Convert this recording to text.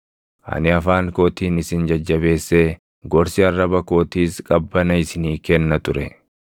Ani afaan kootiin isin jajjabeessee gorsi arraba kootiis qabbana isinii kenna ture.